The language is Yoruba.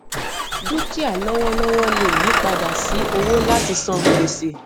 dúkìá lọwọlọwọ lè yí padà sí owó láti san gbèsè